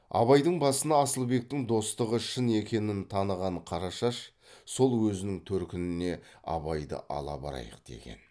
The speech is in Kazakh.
абайдың басына асылбектің достығы шын екенін таныған қарашаш сол өзінің төркініне абайды ала барайық деген